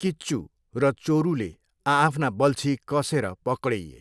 किच्चू र चोरूले आआफ्ना बल्छी कस्सेर पकडिए।